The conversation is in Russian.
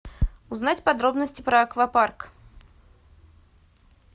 узнать подробности про аквапарк